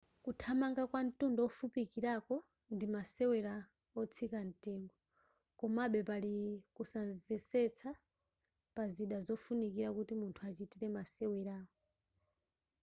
kuthamanga kwa ntunda wofupikilapo ndi masewela otsika ntengo komabe pali kunsanvetsa pa zida zofunikila kuti munthu achitile masewerawa